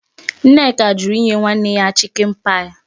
Nneka jụrụ inye nwanne ya chichen-pie.